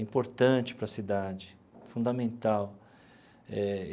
importante para a cidade, fundamental eh.